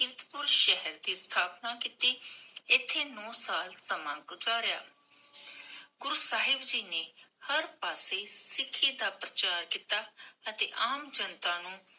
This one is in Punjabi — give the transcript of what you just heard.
ਕੀਰਤਪੁਰ ਸ਼ਹਰ ਦੀ ਸਥਾਪਨਾ ਕੀਤੀ, ਇਥੇ ਨੋ ਸਾਲ ਸਮਾਂ ਗੁਜਾਰਿਆ ਗੁਰੂ ਸਾਹਿਬ ਜੀ ਨੇ ਹਰ ਪਾਸੇ ਸਿਖੀ ਦਾ ਪ੍ਰਚਾਰ ਕੀਤਾ ਅਤੇ ਆਮ ਜਨਤਾ ਨੂੰ